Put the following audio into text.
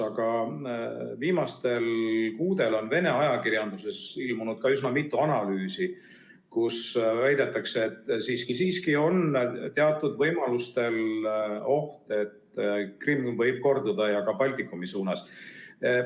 Aga viimastel kuudel on Vene ajakirjanduses ilmunud üsna mitu analüüsi, kus väidetakse, et siiski-siiski on teatud võimaluste korral oht, et Krimm võib korduda, ja ka Baltikumi suunas.